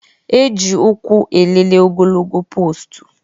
E ji ụkwụ elele ogologo poostu